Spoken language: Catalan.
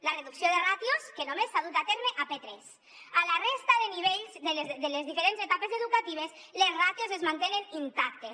la reducció de ràtios que només s’ha dut a terme a p3 a la resta de nivells de les diferents etapes educatives les ràtios es mantenen intactes